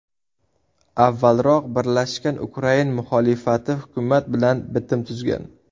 Avvalroq birlashgan ukrain muxolifati hukumat bilan bitim tuzgan.